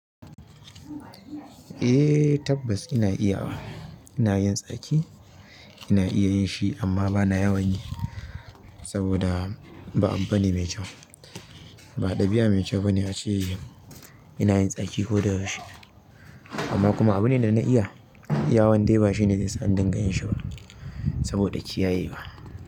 Eh tabbas ina iyawa. Ina yin tsaki, ina iya yin shi amma bana yawan yi saboda ba abu bane mai kyau. Ba ɗabi'a mai kyau bane a ce ina yin tsaki ko da yaushe. Amma kuma abu ne da na iya. Yawon dai ba shine zai sa an dinga yin shi ba saboda kiyaye wa.